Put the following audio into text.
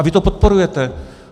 A vy to podporujete!